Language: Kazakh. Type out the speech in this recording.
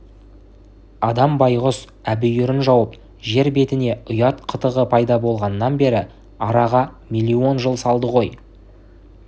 адам байғұс әбүйірін жауып жер бетіне ұят қытығы пайда болғаннан бері араға миллион жыл салды ғой